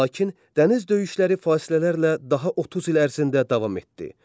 Lakin dəniz döyüşləri fasilələrlə daha 30 il ərzində davam etdi.